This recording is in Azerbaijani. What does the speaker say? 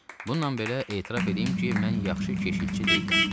Bununla belə etiraf eləyim ki, mən yaxşı keşiyçi deyiləm.